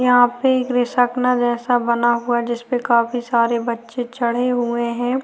यहाँ पे एक जैसा बना हुआ है जिसपे काफी सारे बच्चे चढ़े हुए हैं।